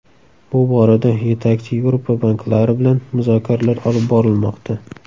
Bu borada yetakchi Yevropa banklari bilan muzokaralar olib borilmoqda.